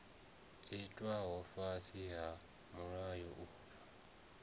itwaho fhasi ha mulayo uyu